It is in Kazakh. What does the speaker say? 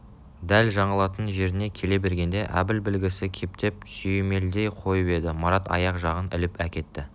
дәл жаңылатын жеріне келе бергенде әбіл білгісі кепдеп сүйемелдей қойып еді марат аяқ жағын іліп әкетті